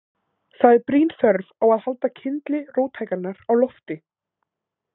Það er brýn þörf á að halda kyndli róttækninnar á lofti.